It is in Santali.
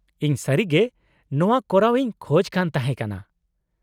-ᱤᱧ ᱥᱟᱹᱨᱤᱜᱮ ᱱᱚᱶᱟ ᱠᱚᱨᱟᱣ ᱤᱧ ᱠᱷᱚᱡ ᱠᱟᱱ ᱛᱟᱦᱮᱸ ᱠᱟᱱᱟ ᱾